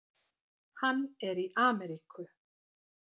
Hann er í Ameríku.